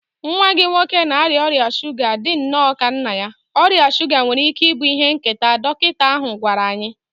Nwa gị nwoke na-arịa ọrịa shuga dị nnọọ ka nna ya, ọrịa shuga nwere ike ịbụ ihe nketa, dọkịta ahụ gwara anyị.